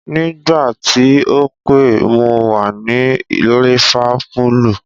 Nígbà tí o pè mo wà ní lífápúlù.